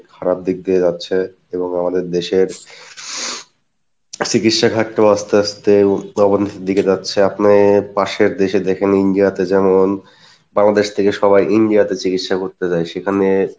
খারাপ দিক দিয়ে যাচ্ছে এবং আমাদের দেশের চিকিৎসা ঘাটটি ও আস্তে আস্তে অবনতির দিকে যাচ্ছে আপনি পাশের দেশে দেখেন India তে যেমন বাংলাদেশ থেকে সবাই India তে চিকিৎসা করতে যাই,